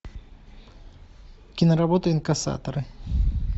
киноработа инкассаторы